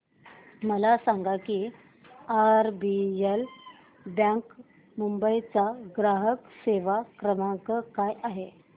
मला सांगा की आरबीएल बँक मुंबई चा ग्राहक सेवा क्रमांक काय आहे